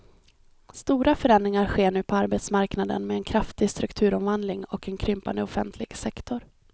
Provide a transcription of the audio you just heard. Stora förändringar sker nu på arbetsmarknaden med en kraftig strukturomvandling och en krympande offentlig sektor.